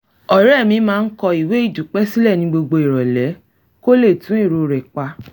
ọ̀rẹ́ mi máa ń kọ ìwé ìdúpẹ́ sílẹ̀ ní gbogbo ìrọ̀lẹ́ kó lè tún èrò rẹ̀ pa